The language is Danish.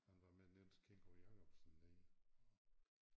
Han var med Niels Kingo Jacobsen nede og